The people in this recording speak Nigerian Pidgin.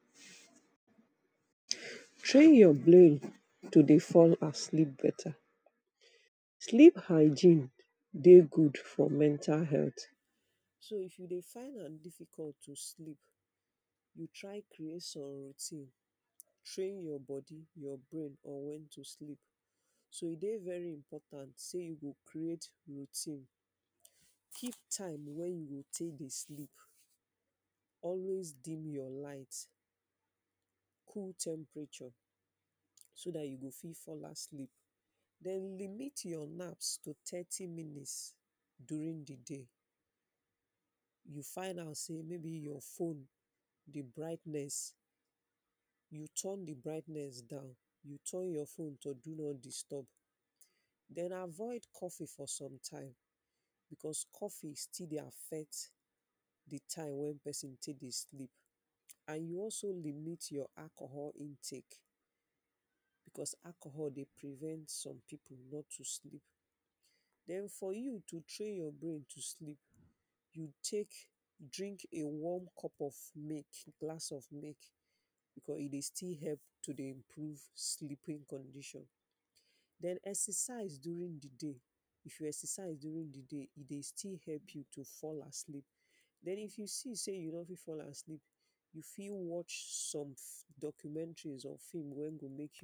Train you brain to dey fall asleep better Sleep hygiene dey good for mental health. So if you dey find am difficult to sleep, try create some routine train your body your brain on wen to sleep so e dey very important sey you go create routine give time wen you take dey sleep. Always deem your light, cool temperature, so dat you go fit fall asleep den limit your nap to thirty minutes during the day, you find out sey maybe your fone di brightness down your would turn your fone to do not disturb, den avoid coffee for sometimes because coffee still dey affect di time wey pesin still dey sleep and you also limit your alcohol intake because alcohol dey prevent some pipu not to sleep den for you to train your brain to sleep you take drink a warm cup of milk, glass of milk cause e dey still help to dey improve sleeping condition den exercise during di day e dey still help you fall asleep den if you see say you no fit fall asleep you fit watch some documentary or film